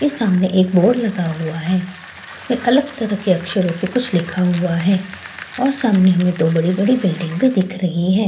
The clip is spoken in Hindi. ये सामने एक बोर्ड लगा हुआ है उसमें अलग तरह के अक्षरों से कुछ लिखा हुआ है और सामने हमें दो बड़ी-बड़ी बिल्डिंग भी दिख रही है।